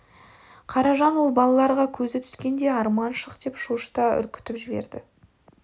қаражан ол балаларға көзі түскенде арман шық деп шошыта үркітіп жіберді